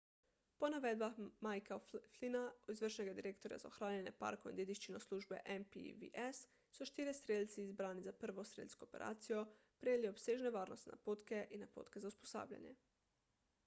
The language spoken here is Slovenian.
po navedbah micka o'flynna izvršnega direktorja za ohranjanje parkov in dediščino službe npws so štirje strelci izbrani za prvo strelsko operacijo prejeli obsežne varnostne napotke in napotke za usposabljanje